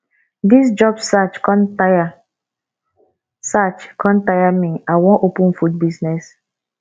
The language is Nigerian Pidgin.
dis job search con tire search con tire me i wan open food business